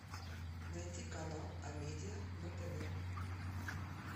найти канал амедиа на тв